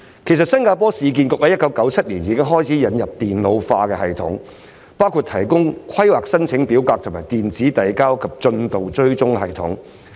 其實，新加坡市建局於1997年已經開始引入電腦化系統，包括電腦化規劃申請表格和電子遞交及進度追蹤系統。